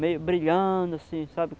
Meio brilhando, assim, sabe?